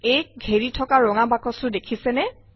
aক ঘেৰি থকা ৰঙা বাকচটো দেখিছেনে